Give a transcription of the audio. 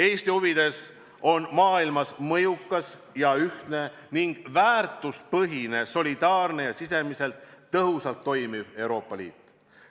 Eesti huvides on maailmas mõjukas ja ühtne ning väärtuspõhine, solidaarne ja sisemiselt tõhusalt toimiv Euroopa Liit.